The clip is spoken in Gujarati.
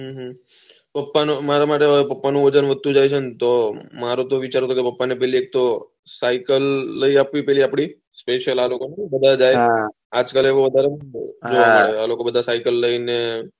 પપ્પા નું મારા માટે હવે પાપા નું વજન વધતું જાય છે તો મારા તો વિચાર છે પપ્પા ને પેલી એક તો સાયકલ લઇ આપવી સ્પેશલ આ લોકો માં બધા જાય આજ કાલ ને વધારે બધા સાયકલ લઇ ને સાય્લીંગ કરવા